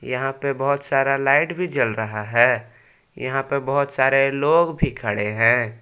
यहां पे बहुत सारा लाइट भी जल रहा है यहां पर बहुत सारे लोग भी खड़े हैं।